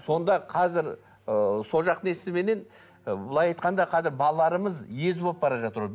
сонда қазір ы сол жақтың несіменен былай айтқанда қазір балаларымыз ез болып жатыр